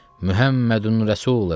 Muhəmmədun Rəsulullah.